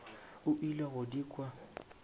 o ile go di kwa